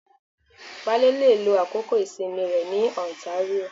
Wale le lo àkókò ìsinmi rẹ ní ontario